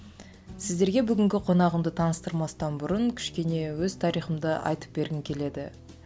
сіздерге бүгінгі қонағымды таныстырмастан бұрын кішкене өз тарихымды айтып бергім келеді